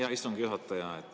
Hea istungi juhataja!